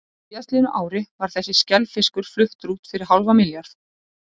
Á síðastliðnu ári var þessi skelfiskur fluttur út fyrir hálfan milljarð.